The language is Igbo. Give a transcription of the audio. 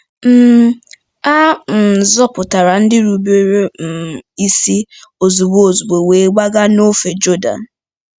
um A um zọpụtara ndị rubere um isi ozugbo ozugbo wee gbaga n'ofe Jọdan.